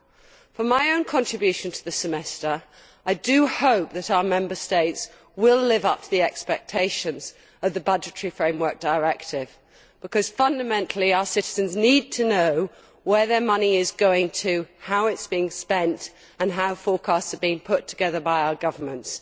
As for my own contribution on the European Semester, I hope that our Member States will live up to the expectations of the Budgetary Framework Directive because, fundamentally, our citizens need to know where their money is going, how it is being spent and how forecasts are being put together by our governments.